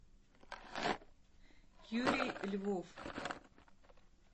юрий львов